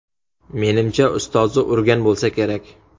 Menimcha, ustozi urgan bo‘lsa kerak.